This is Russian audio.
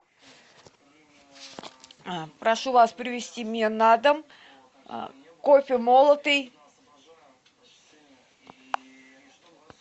прошу вас привезти мне на дом кофе молотый